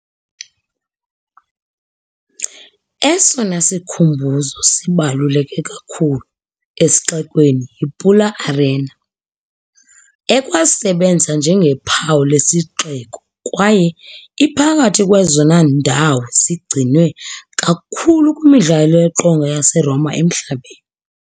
Esona sikhumbuzo sibaluleke kakhulu esixekweni yiPula Arena, ekwasebenza njengophawu lesixeko kwaye iphakathi kwezona ndawo zigcinwe kakhulu kwimidlalo yeqonga yaseRoma emhlabeni.